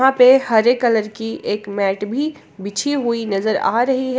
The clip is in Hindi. यहां पे हरे कलर कि एक मैट भी बिछी हुई नजर आ रही है।